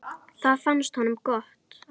Það fannst honum gott.